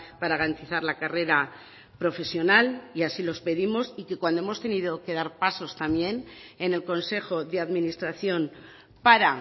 para garantizar la carrera profesional y así los pedimos y que cuando hemos tenido que dar pasos también en el consejo de administración para